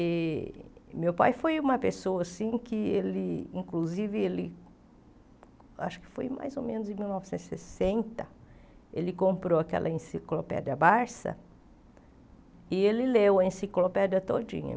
E meu pai foi uma pessoa assim que ele, inclusive ele, acho que foi mais ou menos em mil novecentos e sessenta, ele comprou aquela enciclopédia Barça e ele leu a enciclopédia todinha.